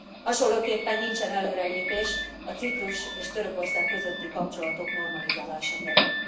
Hasonlóképpen nincsen előrelépés a Ciprus és Törökország közötti kapcsolatok normalizálása terén.